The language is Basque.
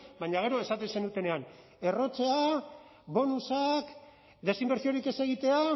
baina gero esaten zenutenean errotzea bonusak desinbertsiorik ez egitea